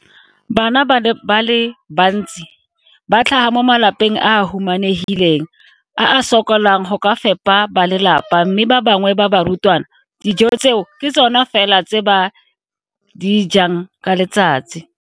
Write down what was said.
Bana ba le bantsi ba tlhaga mo malapeng a a humanegileng a a sokolang go ka fepa ba lelapa mme ba bangwe ba barutwana, dijo tseo ke tsona fela tse ba di jang ka letsatsi.